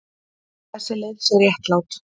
Þessi leið sé réttlát.